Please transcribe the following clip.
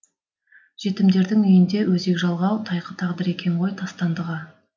жетімдердің үйінде өзек жалғау тайқы тағдыр екен ғой тастандыға